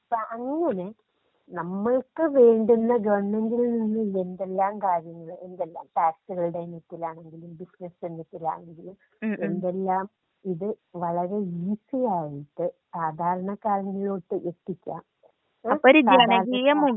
അപ്പോ അങ്ങനെ നമ്മൾക്ക് വേണ്ടുന്ന ഗവണ്മെന്റിൽ നിന്നും എന്തെല്ലാം കാര്യങ്ങൾ ടാക്സുകളുടെ രംഗത്ത്ആണെങ്കിലും ബിസിനസ് രംഗത്ത് ആണെങ്കിലും. എന്തെല്ലാം ഇത് വളരെ ഈസിയായിട്ട് സാധാരണക്കാരനിലോട്ട് എത്തിക്കാ. സാധാരണക്കാര്.